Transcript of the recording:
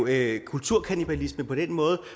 lave kulturkannibalisme på den måde